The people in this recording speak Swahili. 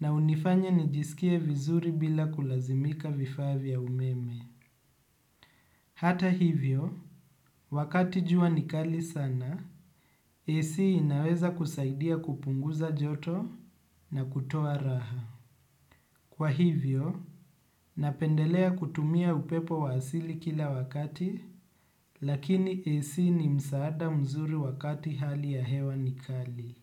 na unifanya nijiskie vizuri bila kulazimika vifaa vya umeme. Hata hivyo, wakati jua nikali sana, AC inaweza kusaidia kupunguza joto na kutoa raha. Kwa hivyo, napendelea kutumia upepo wa asili kila wakati, lakini AC ni msaada mzuri wakati hali ya hewa nikali.